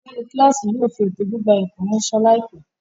Olórí kíláàsì yóò fi ètò gbígba ẹ̀kọ́ ráńṣẹ́ láìpẹ́.